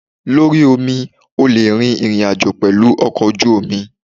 Lórí omi, o le rin ìrìn àjò pẹ̀lú ọkọ̀ ojú omi.